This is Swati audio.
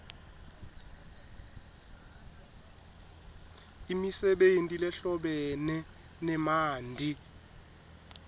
imisebenti lehlobene nemanti